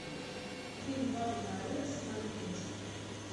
фильм папа на вырост смотреть